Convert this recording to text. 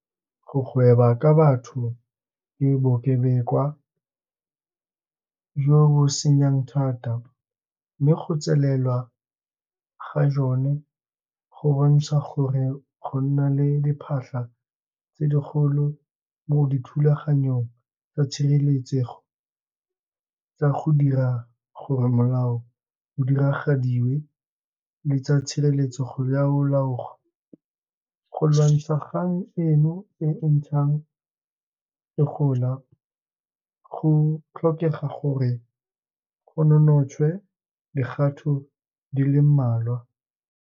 Go gweba ka batho ke bokebekwa jo bo senyang thata, mme go tselelwa ga jone go bontsha gore go na le diphatlha tse di kgolo mo dithulaganyong tsa tshireletsego tsa go dira gore molao o diragadiwe le tsa tshireletsego ya go . Go lwantsha kgang eno e ntshang e gola, go tlhokega gore go nonotshwe dikgato di le mmalwa.